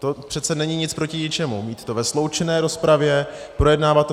To přece není nic proti ničemu mít to ve sloučené rozpravě, projednávat to.